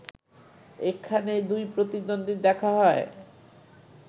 এখানেই দুই প্রতিদ্বন্দীর দেখা হয়